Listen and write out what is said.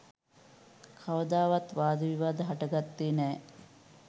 කවදාවත් වාද විවාද හටගත්තේ නෑ.